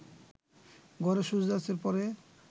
ঘরে সূর্যাস্তের পরে